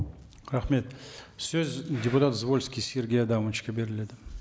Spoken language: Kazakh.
рахмет сөз депутат звольский сергей адамовичке беріледі